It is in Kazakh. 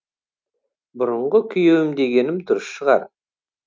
бұрынғы күйеуім дегенім дұрыс шығар